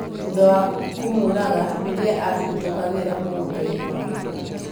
thutha wa kũmũũraga rĩrĩa aahĩtũkagĩra mũgũnda-inĩ wake